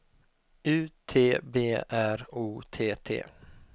U T B R O T T